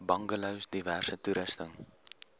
bungalows diverse toerusting